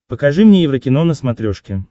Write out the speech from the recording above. покажи мне еврокино на смотрешке